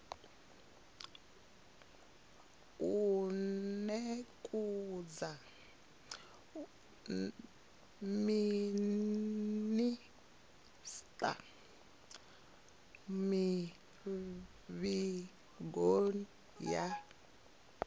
u nekedza minisita mivhigo ya